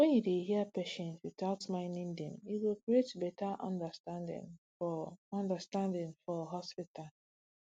when you dey hear patients without minding dem e go create better understanding for understanding for hospital